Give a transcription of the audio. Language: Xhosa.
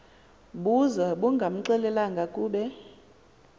buza bungamxelelanga kube